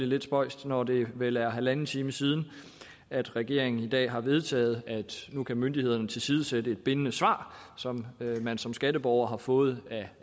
lidt spøjst når det vel er halvanden time siden at regeringen i dag har vedtaget at nu kan myndighederne tilsidesætte et bindende svar som man som skatteborger har fået